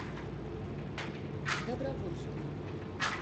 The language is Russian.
добровольскую